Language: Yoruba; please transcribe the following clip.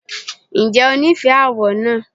Ǹjẹ́ o nífẹ̀ẹ́ àwọ̀ náà?